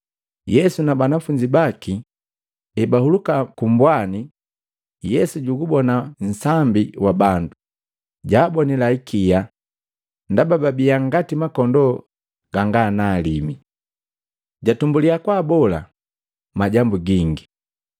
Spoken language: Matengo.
Yesu na banafunzi baki ebahuluka kumbwani, Yesu jugubona nsambi wa bandu, jaabonila ikia, ndaba babia ngati makondoo ganga na alima. Jatumbulya kubola majambu gingi.